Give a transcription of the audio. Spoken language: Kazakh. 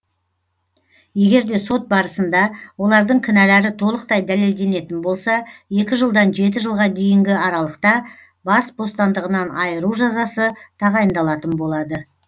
егер де сот барысында олардың кінәлері толықтай дәлелделенетін болса екі жылдан жеті жылға дейінгі аралықта бас бостандығынан айыру жазасы тағайындалатын болады